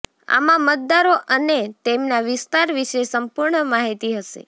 આમાં મતદારો અને તેમના વિસ્તાર વિશે સંપૂર્ણ માહિતી હશે